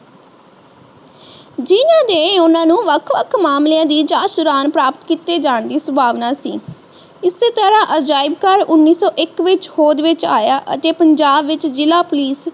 ਜਿਨ੍ਹਾਂ ਦੇ ਨੇ ਉਹਨਾਂ ਨੂੰ ਵੱਖ ਵੱਖ ਮਾਮਲੇ ਦੀ ਜਾਂਚ ਦੌਰਾਨ ਪ੍ਰਾਪਤ ਕੀਤੇ ਜਾਣ ਦੀ ਸੰਭਾਵਨਾ ਸੀ ਇਸ ਹੀ ਤਰਾਹ ਅਜਾਇਬ ਘਰ ਉਨੀਸੋ ਇੱਕ ਵਿਚ ਹੋਂਦ ਵਿਚ ਆਇਆ ਅਤੇ ਪੰਜਾਬ ਵਿਚ ਜ਼ਿਲਾ ਪੁਲਿਸ